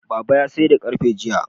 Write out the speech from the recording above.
Baba ya sayar da ƙarfe jiya